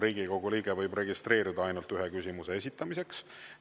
Riigikogu liige võib registreeruda ainult ühe küsimuse esitamiseks.